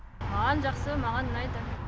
маған жақсы маған ұнайды